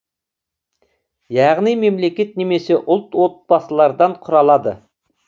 яғни мемлекет немесе ұлт отбасылардан құралады